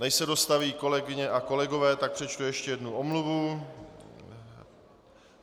Než se dostaví kolegyně a kolegové, tak přečtu ještě jednu omluvu.